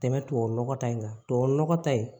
Tɛmɛ tubabu nɔgɔ ta in kan tubabu nɔgɔ ta in